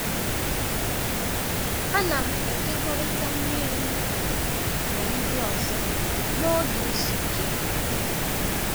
A na'm ekekọrịta mmiri m na ndị ọzọ n’oge izu ike.